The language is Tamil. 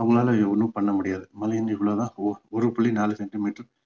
அவங்களால ஒண்ணும் பண்ண முடியாது மழை இவ்ளோ தான் ஒரு ஓரு புள்ளி நாலு centimeter